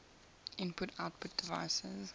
input output devices